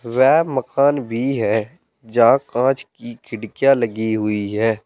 वह मकान भी है जहां कांच की खिड़कियां लगी हुई है।